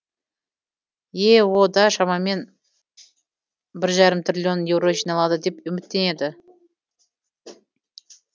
ео да шамамен бір жарым триллион еуро жиналады деп үміттенеді